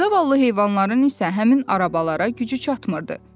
Zavallı heyvanların isə həmin arabalara gücü çatmırdı.